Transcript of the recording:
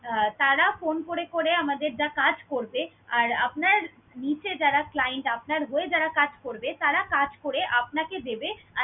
আহ তারা phone করে করে আমাদের যা কাজ করবে আর আপনার নিচে যারা client আপনার হয়ে যারা কাজ করবে, তারা কাজ করে আপনাকে দেবে।